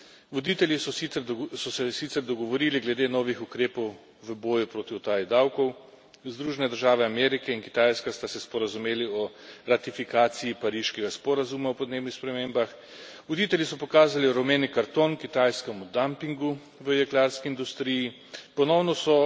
Voditelji so se sicer dogovorili glede novih ukrepov v boju proti utaji davkov, Združene države Amerike in Kitajska sta se sporazumeli o ratifikaciji pariškega sporazuma o podnebnih spremembah, voditelji so pokazali rumeni karton kitajskemu dampingu v jeklarski industriji, ponovno so